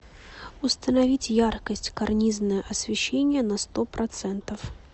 установить яркость карнизное освещение на сто процентов